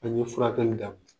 An ye furakɛli daminƐ